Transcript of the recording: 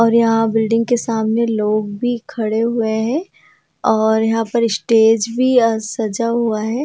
और यहां बिल्डिंग के सामने लोग भी खड़े हुए हैं और यहां पर स्टेज भी अ सजा हुआ है।